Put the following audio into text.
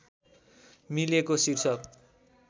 मिलेको शीर्षक